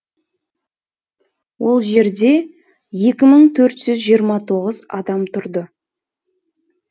ол жерде екі мың төрт жүз жиырма тоғыз адам тұрды